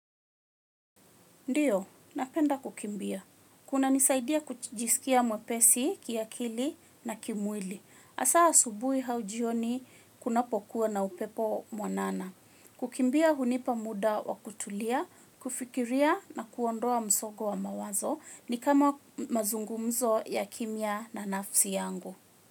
Ndiyo, napenda kukimbia. Kunanisaidia kujisikia mwepesi, kiakili na kimwili. Hasa asubuhi au jioni kunapokuwa na upepo mwanana. Kukimbia hunipa muda wa kutulia, kufikiria na kuondoa msongo wa mawazo ni kama mazungumzo ya kimya na nafsi yangu.